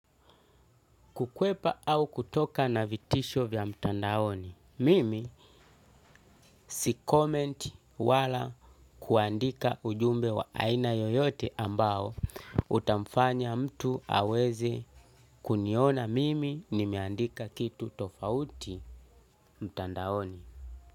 Kukwepa au kutoka na vitisho vya mtandaoni, mimi si comment wala kuandika ujumbe wa aina yoyote ambao utamfanya mtu aweze kuniona mimi nimeandika kitu tofauti mtandaoni.